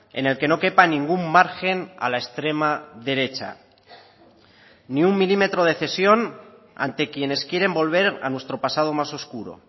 en el que no quepa ningún margen a la extrema derecha ni un milímetro de cesión ante quienes quieren volver a nuestro pasado más oscuro